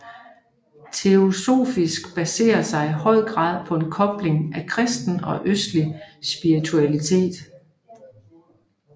Teosofisk baserer sig i høj grad på en kobling af kristen og østlig spiritualitet